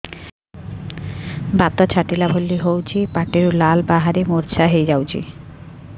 ବାତ ଛାଟିଲା ଭଳି ହଉଚି ପାଟିରୁ ଲାଳ ବାହାରି ମୁର୍ଚ୍ଛା ହେଇଯାଉଛି